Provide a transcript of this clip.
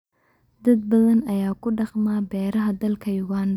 dad badan ayaa ku dhaqma beeraha dalka Uganda.